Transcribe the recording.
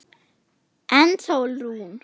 En Sólrún?